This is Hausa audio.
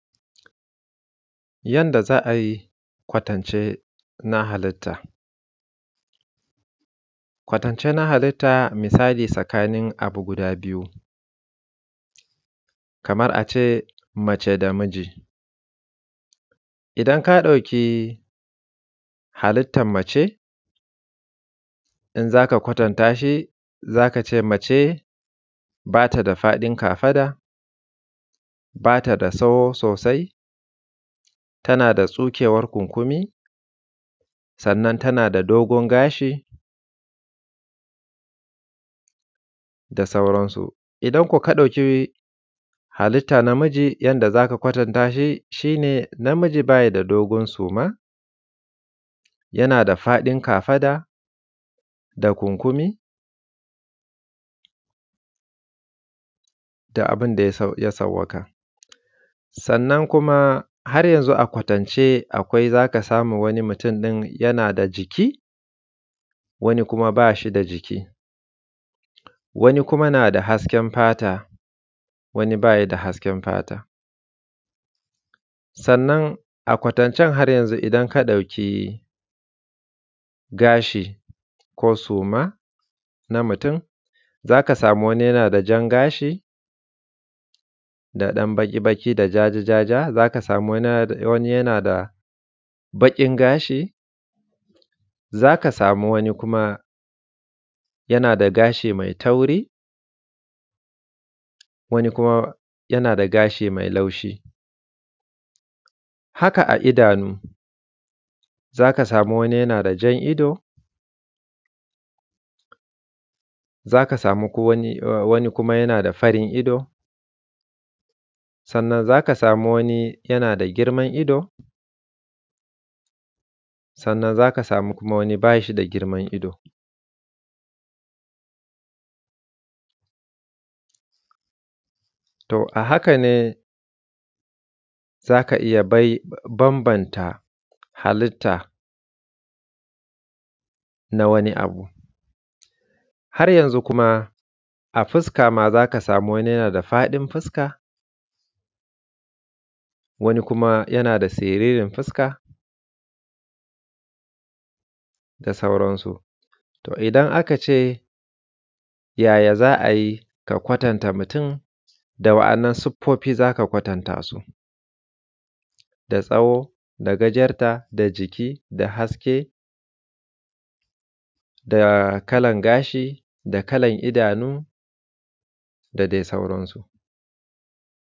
Yanda za ai kwatance na halitta, kwatance na halitta misali sakanin abu guda biyu, kamar a ce mace da miji. Idan ka ɗauki halittan mace ba ta da faɗin kafada ba ta da soho sosai tana da tsukewar kunkumi, sannan tana da dogon gashi da sauran su. Idan ko ka ɗauki halitta namiji, yanda za ka kwatanta shi, shi ne namiji ba yi da dogon suma, yana da faɗin kafada da kunkumi da abin da ya sau ya sawwaka, sannan kuma har yanzu a kwatance akwai za ka samu mutum din yana da jiki wani kuma ba shi da jiki. Wani kuma na da hasken fata, wani ba yi da hasken fata, sannan a kwatancen har yanzu idan ka ɗauki gashi ko suma na mutum za ka samu wani yana da jan gashi da ɗan baƙi-baƙi da jaja-jaja za ka samu wani ya wani yana da baƙin gashi za ka samu wani kuma yana da gashi mai tauri wani kuma yana da gashi mai laushi. Haka a idanu za ka samu wani yana da jan ido za ka samu ko wani o wani kuma yana da farin ido, sannan za ka sami wani yana da girman ido, sannan za ka sami kuma wani ba shi da girman ido. To a haka ne za ka iya bay bambanta halitta na wani abu, har yanzu kuma a fiska ma za ka samu wani yana da faɗin fuska, wani kuma yana da siririn fuska, da sauran su, to idan aka ce, yaya za a yi ka kwatanta mutum, da wa’annan siffofi za ka kwatanta su da tsawo da gajarta da jiki da haske da kalan gashi da kalan idanu da dai sauran su.